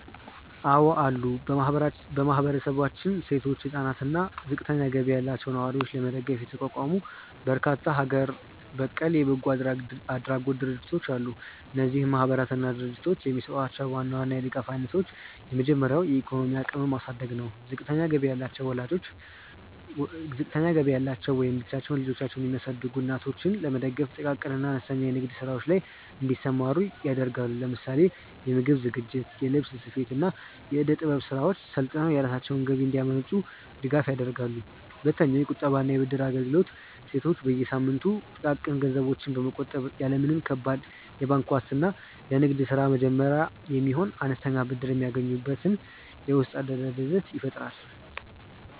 አዎ አሉ። በማህበረሰባችን ሴቶችን፣ ህፃናትን አና እና ዝቅተኛ ገቢ ያላቸውን ነዋሪዎች ለመደገፍ የተቋቋሙ በርካታ ሀገር በቀል የበጎ አድራጎት ድርጅቶች አሉ። እነዚህ ማህበራትና ድርጅቶች የሚሰጧቸውን ዋና ዋና የድጋፍ አይነቶች የመጀመሪያው የኢኮኖሚ አቅምን ማሳደግ ነው። ዝቅተኛ ገቢ ያላቸው ወይም ብቻቸውን ልጆቻቸውን የሚያሳድጉ እናቶችን ለመደገፍ ጥቃቅን እና አነስተኛ የንግድ ስራዎች ላይ እንዲሰማሩ ያደርጋሉ። ለምሳሌ የምግብ ዝግጅት፣ የልብስ ስፌት፣ እና የእደ-ጥበብ ስራዎችን ሰልጥነው የራሳቸውን ገቢ እንዲያመነጩ ድጋፍ ያደርጋሉ። ሁለተኛውየቁጠባ እና የብድር አገልግሎት ሴቶች በየሳምንቱ ጥቃቅን ገንዘቦችን በመቆጠብ፣ ያለ ምንም ከባድ የባንክ ዋስትና ለንግድ ስራ መጀመሪያ የሚሆን አነስተኛ ብድር የሚያገኙበትን የውስጥ አደረጃጀት ይፈጥራሉ።